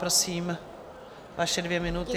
Prosím, vaše dvě minuty.